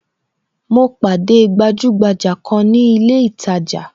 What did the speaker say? Mo pàdé gbajugbaja kan ni ilé itaja